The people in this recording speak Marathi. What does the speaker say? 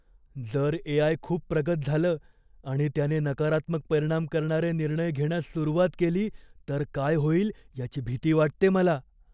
जर ए. आय. खूप प्रगत झालं आणि त्याने नकारात्मक परिणाम करणारे निर्णय घेण्यास सुरुवात केली तर काय होईल याची भीती वाटते मला.